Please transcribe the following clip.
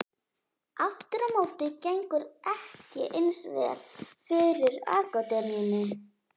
Aftur á móti gengur ekki eins vel fyrir akademíunni.